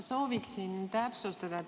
Sooviksin täpsustada.